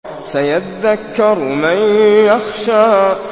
سَيَذَّكَّرُ مَن يَخْشَىٰ